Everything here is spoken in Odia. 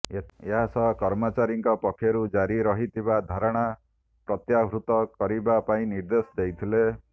ଏଥି ସହ କର୍ମଚାରୀ ଙ୍କ ପକ୍ଷରୁ ଜାରି ରହିଥିବା ଧାରଣା ପ୍ରତ୍ୟାହୃତ କରିବା ପାଇଁ ନିର୍ଦ୍ଦେଶ ଦେଇଥିଲେ